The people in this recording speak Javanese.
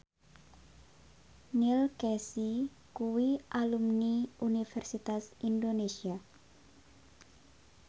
Neil Casey kuwi alumni Universitas Indonesia